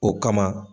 O kama